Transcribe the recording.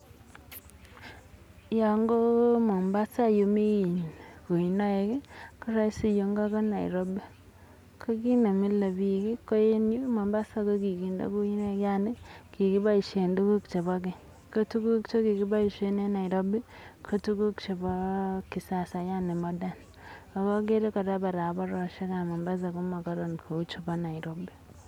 Yoon ko Mombasa yemii kuinoik koroisi yuu ing'o ko Nairobi, ko kiit nemile biik ko en Mombasa ko kikinde kuinoik yaani kikiboishen tukuk chekibo keny ko tukuk chekikiboishen en Nairobi ko tukuk chebo kisasa yani modern ak okere kora barabaroshekab Mombasa komokoron kouu chebo Nairobi.